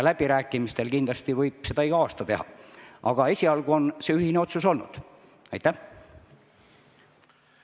Läbirääkimiste tulemusel kindlasti võib seda ka igal aastal teha, aga esialgu on ühine otsus niisugune olnud.